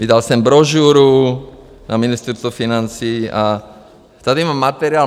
Vydal jsem brožuru na Ministerstvo financí a tady mám materiál